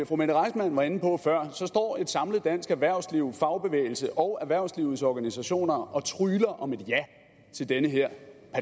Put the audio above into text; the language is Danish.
fru mette reissmann var inde på før står et samlet dansk erhvervsliv fagbevægelse og erhvervslivets organisationer og trygler om et ja til den her